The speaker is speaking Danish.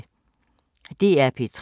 DR P3